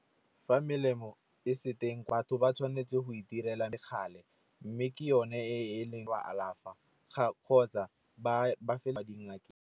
Fa melemo e se teng batho ba tshwanetse go itirela lekgale mme ke yone e neng e ba alafa kgotsa ba fela di ngakeng.